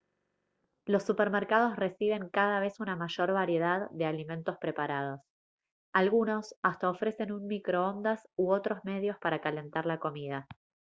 los supermercados reciben cada vez una mayor variedad de alimentos preparados algunos hasta ofrecen un microondas u otros medios para calentar la comida